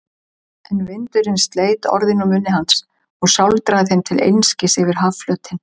En vindurinn sleit orðin úr munni hans og sáldraði þeim til einskis yfir hafflötinn.